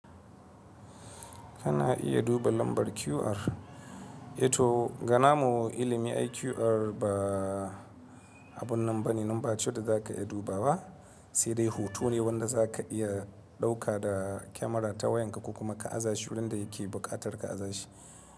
Kana iya duba lambar QR, e to ga na mu ilimi ai QR ba abunan bane number ce da za ka iya duba wa, sai dai hoto ne wanda za ka iya ɗauka da kyamara ta wayanka ko kuma ka’aza shi wurin da yake buƙatar ka’aza shi.